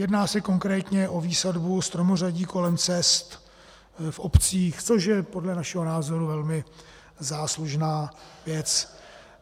Jedná se konkrétně o výsadbu stromořadí kolem cest v obcích, což je podle našeho názoru velmi záslužná věc.